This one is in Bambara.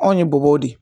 Anw ye bɔbɔw de ye